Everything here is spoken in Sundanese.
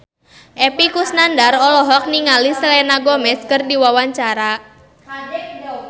Epy Kusnandar olohok ningali Selena Gomez keur diwawancara